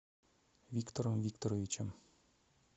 виктором викторовичем